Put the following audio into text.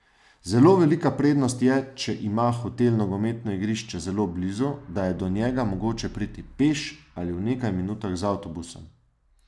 Zelo velika prednost je, če ima hotel nogometno igrišče zelo blizu, da je do njega mogoče priti peš ali v nekaj minutah z avtobusom.